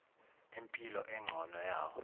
impilo engcono yawo